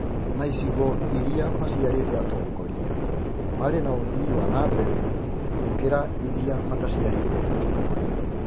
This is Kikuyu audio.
Na icigo irĩa maciarĩte atongoria marĩ na ũthii wa na mbere, gũkĩra irĩa mataciarĩte atongoria.